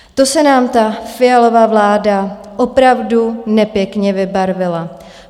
To se nám ta Fialova vláda opravdu nepěkně vybarvila!